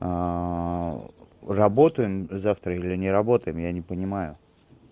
работаем завтра или не работаем я не понимаю